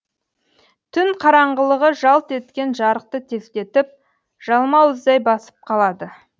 түн қараңғылығы жалт еткен жарықты тездетіп жалмауыздай басып қалады